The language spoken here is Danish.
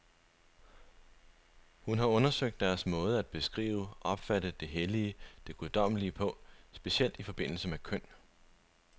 Hun har undersøgt deres måde at beskrive, opfatte det hellige, det guddommelige på, specielt i forbindelse med køn.